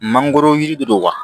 Mangoro yiri de do wa